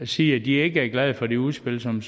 sige at de ikke er glade for det udspil som